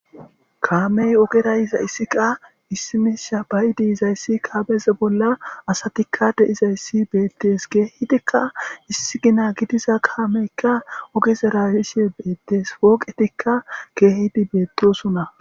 Kaamey ogerayiza issiqa issimisha bayidi izayssi kaameze bolla asatikka deizayssi beettees geehidikka issi gina gidiza kaameykka ogeze rayishe beettees pooqetikka keehidi beettosunna.